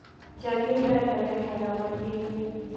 Jamila ndarĩhaga mathirĩ.